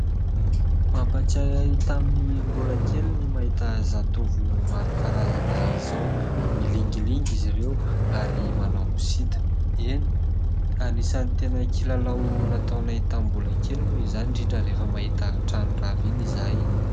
Mampatsiahy ahy tamin'ny mbola kely ny mahita zatovo maro karazana izao. Milingilingy izy ireo ary manao sita. Eny ! Anisany tena kilalao nataonay tamin'ny mbola kely moa izany, indrindra rehefa mahita trano rava iny izahay.